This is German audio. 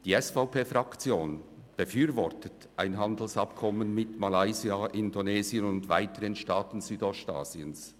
Die SVP-Fraktion befürwortet ein Handelsabkommen mit Malaysia, Indonesien und weiteren Staaten Südostasiens.